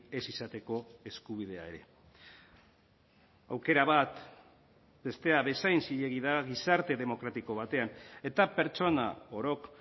ez izateko eskubidea ere aukera bat bestea bezain zilegi da gizarte demokratiko batean eta pertsona orok